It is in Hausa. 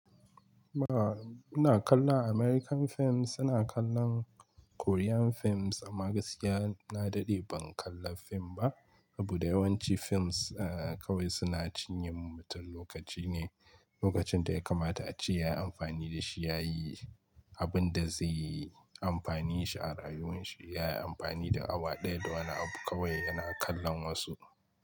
Ba, muna kallon American films, suna kallon Korean films amma gaskiya na daɗe ban kalla fim ba. Abu da yawanci films a kawai suna cinye wa mutum lokaci ne, lokacin da ya kamata a ci yayi amfani da shi yayi abin da zai yi amfani shi a rayuwar shi. Yayi amfani da awa ɗaya da wani abu kawai yana kallon wasu.